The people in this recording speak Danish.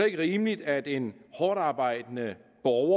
ikke rimeligt at en hårdtarbejdende borger